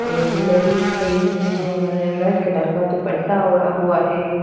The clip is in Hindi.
एक लेडीज खड़ी हुई हैं जिन्होंने रेड कलर का दुपट्टा ओड़ा हुआ है।